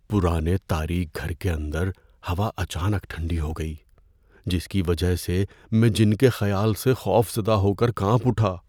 پرانے تاریک گھر کے اندر ہوا اچانک ٹھنڈی ہو گئی، جس کی وجہ سے میں جِن کے خیال سے خوف زدہ ہو کر کانپ اٹھا۔